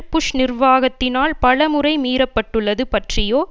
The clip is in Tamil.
புஷ் நிர்வாகத்தினால் பல முறை மீறப்பட்டுள்ளது பற்றியோ